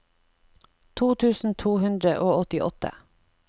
to tusen to hundre og åttiåtte